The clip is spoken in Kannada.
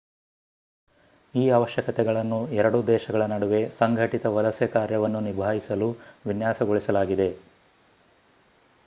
ಈ ಅವಶ್ಯಕತೆಗಳನ್ನು ಎರಡೂ ದೇಶಗಳ ನಡುವೆ ಸಂಘಟಿತ ವಲಸೆ ಕಾರ್ಯವನ್ನು ನಿಭಾಯಿಸಲು ವಿನ್ಯಾಸಗೊಳಿಸಲಾಗಿದೆ